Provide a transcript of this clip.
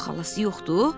Xalası yoxdur?